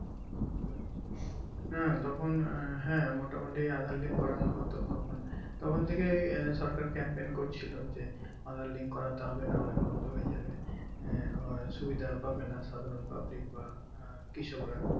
হ্যাঁ তখন হ্যাঁ মোটামুটি aadhaar link করানো হতো তখন তখন থেকেই সরকার camp pump করছিলো যে aadhaar link করতে হবে নাহলে বন্ধ হয়ে যাবে হ্যাঁ সুবিধা পাবেন সাধারণ public বা কৃষক রা